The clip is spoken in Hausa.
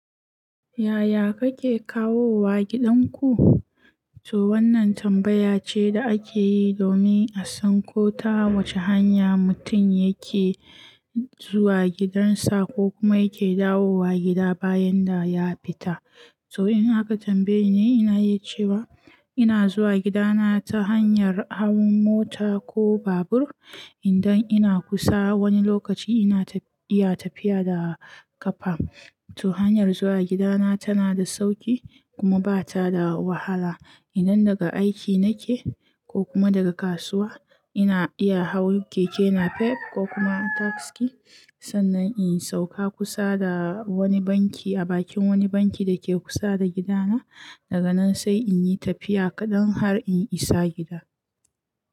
Yaya kake kawowa gidan ku? To wannan tambaya ce da ake yi domin a san ko ta wace hanya mutum yake zuwa gidansa ko kuma yake dawowa gida bayan da ya fita. So in aka tambaye ni, ina iya cewa ina zuwa gidana ta hanyar hau mota ko babur. Idan ina kusa, wani lokaci ina iya tafiya da ƙafa. To hanyar zuwa gidana tana da sauƙi kuma ba ta da wahala. Idan daga aiki nake ko kuma daga kasuwa, ina iya hau keke napep ko kuma taksi sannan in sauka kusa da wani banki a bakin wani banki da ke kusa da gidana. Daga nan sai in yi tafiya kaɗan har in isa gida.